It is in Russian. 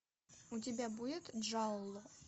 у тебя будет джалло